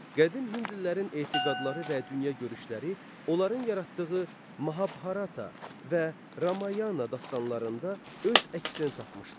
Qədim hindlilərin etiqadları və dünya görüşləri onların yaratdığı Mahabharata və Ramayana dastanlarında öz əksini tapmışdır.